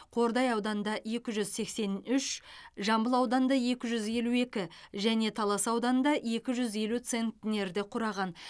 қордай ауданында екі жүз сексен үш жамбыл ауданында екі жүз елу екі және талас ауданында екі жүз елу центнерді құраған